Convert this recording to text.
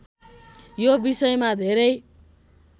यो विषयमा धेरै